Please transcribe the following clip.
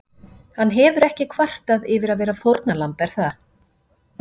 Hann hefur ekki kvartað yfir að vera fórnarlamb er það?